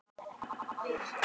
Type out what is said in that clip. Á þeim tíma var Skúla